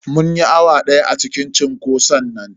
Mun yi awa daya a cikin cunkoson nan.